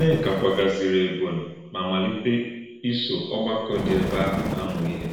Nné̄ká kwàgàzìrì̄ Ébónyì̄ mà málítè̄ ísọ̀ ọ̀gbàkọ̄ dị̄ èbè̄ àhụ̄ àmụ̄ íhè̄.